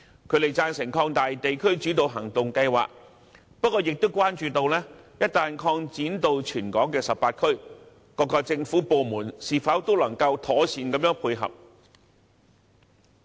他們贊成擴大地區主導行動計劃，不過亦關注到，一旦擴展至全港18區，各政府部門是否都能夠妥善地配合。